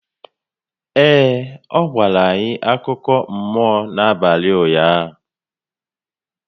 Ee, ọ gwara anyị akụkọ mmụọ n'abalị ụnyaahụ